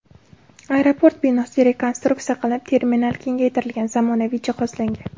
Aeroport binosi rekonstruksiya qilinib, terminal kengaytirilgan, zamonaviy jihozlangan.